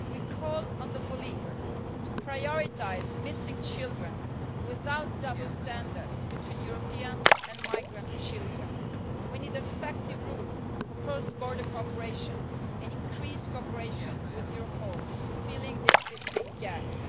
We call on the police to prioritise missing children, without double standards between European and migrant children. We need effective rules for cross border cooperation and increased cooperation with Europol, filling the existing gaps.